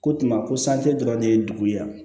Ko tuma ko san te dɔrɔn ne ye dugu ye yan